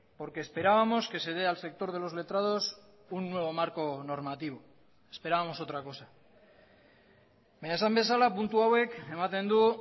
porque esperábamos que se dé al sector de los letrados un nuevo marco normativo esperábamos otra cosa baina esan bezala puntu hauek ematen du